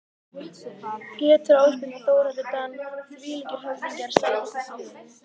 Pétur Ásbjörn og Þórhallur Dan þvílíkir höfðingjar Sætasti sigurinn?